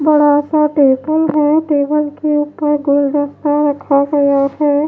बड़ा सा टेबल है टेबल के ऊपर गोल दस्ता रखा गया है।